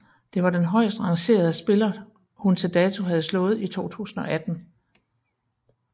Det var den højstrangerede spiller hun til dato havde slået i 2018